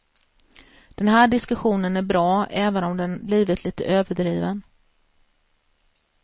Den här diskussionen är bra, även om den blivit lite överdriven.